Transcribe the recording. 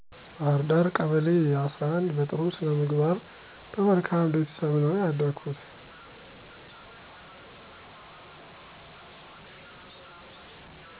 ባህርዳ ቀበሌ11 በጥሩ ስነምግባር በመልካም ቤተሰብ ነው ያደኩት